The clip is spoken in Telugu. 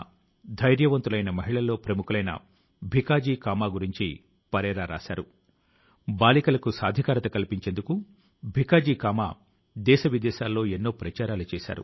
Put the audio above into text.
మనం అందరం కలసి పరీక్ష ఉద్యోగజీవనం సఫలత ఇంకా విద్యార్థి జీవనంతో ముడిపడ్డ అనేక అంశాల పైన మేధోమథనం చేద్దాం